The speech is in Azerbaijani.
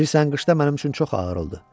Bilirsən qışda mənim üçün çox ağır oldu.